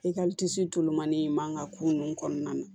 I ka tulonmani in man ka ko ninnu kɔnɔna na